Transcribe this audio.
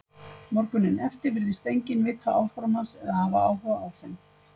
Morguninn eftir virtist enginn vita áform hans eða hafa áhuga á þeim.